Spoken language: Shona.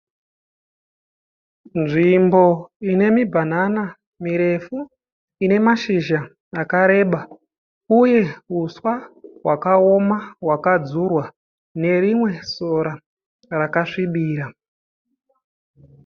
Nzvimbo ine mibhanana mirefu ine mashizha akareba uye huswa hwakaoma hwakadzurwa nerimwe sora rakasvibira